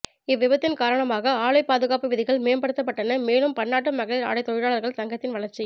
இவ்விபத்தின் காரணமாக ஆலை பாதுகாப்பு விதிகள் மேம்படுத்தப்பட்டன மேலும் பன்னாட்டு மகளிர் ஆடை தொழிலாளர்கள் சங்கத்தின் வளர்ச்சி